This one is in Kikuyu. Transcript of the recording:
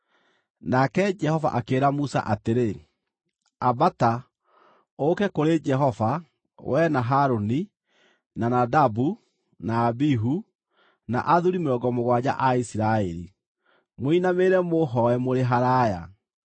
Nake Jehova akĩĩra Musa atĩrĩ, “Ambata, ũũke kũrĩ Jehova, wee na Harũni, na Nadabu, na Abihu, na athuuri mĩrongo mũgwanja a Isiraeli, mũinamĩrĩre mũhooe mũrĩ haraaya,